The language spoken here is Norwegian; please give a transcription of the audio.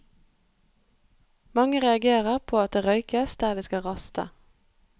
Mange reagerer på at det røykes der de skal raste.